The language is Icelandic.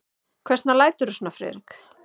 Hvers vegna læturðu svona, Friðrik?